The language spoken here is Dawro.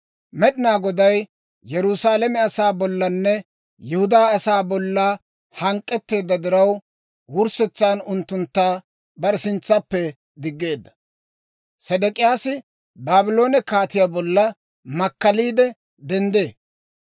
Med'inaa Goday Yerusaalame asaa bollanne Yihudaa asaa bolla hank'k'etteedda diraw, wurssetsan unttuntta bare sintsappe diggeedda. Sedek'iyaasi Baabloone kaatiyaa bolla makkaliide denddee.